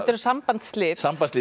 sambandsslit sambandsslit